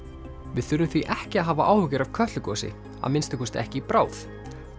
við þurfum því ekki að hafa áhyggjur af Kötlugosi að minnsta kosti ekki í bráð